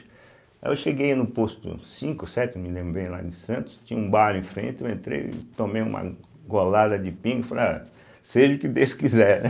Aí eu cheguei no posto cinco, sete, não me lembro bem, lá em Santos, tinha um bar em frente, eu entrei e tomei uma golada de pinga e falei, ah, seja o que Deus quiser, né?